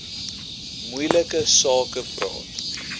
moeilike sake praat